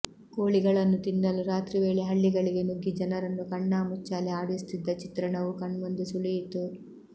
ಕೋಳಿಗಳನ್ನು ತಿನ್ನಲು ರಾತ್ರಿವೇಳೆ ಹಳ್ಳಿಗಳಿಗೆ ನುಗ್ಗಿ ಜನರನ್ನು ಕಣ್ಣಾಮುಚ್ಚಾಲೆ ಆಡಿಸುತ್ತಿದ್ದ ಚಿತ್ರಣವೂ ಕಣ್ಮುಂದೆ ಸುಳಿಯಿತು